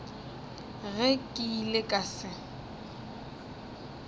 ge ke ile ka se